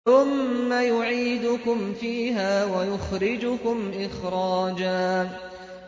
ثُمَّ يُعِيدُكُمْ فِيهَا وَيُخْرِجُكُمْ إِخْرَاجًا